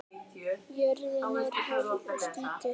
Jörðin er hörð og skítug.